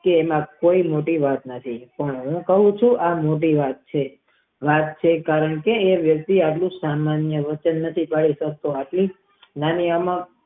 તે આયા કે મોટી વાત નથી હવે હું જે કવ છુ એ મોટી વાત છે કે આયા વ્યકિતએ એ જે વચન આપિયું તે પૂરું કરે છે માળામાં.